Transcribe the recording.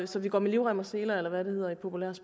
så vi går med livrem og seler eller hvad det hedder populært